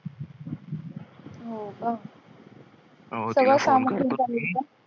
हो का?